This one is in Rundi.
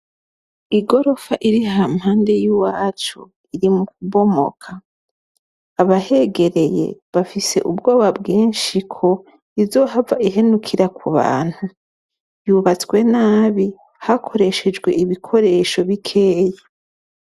Igorofa iriha mpande y'uwacu, iri mu kubomoka. Abahegereye bafise ubwoba bwinshi ko izohava ihenukira ku bantu, yubatswe nabi hakoreshejwe ibikoresho bikeyi.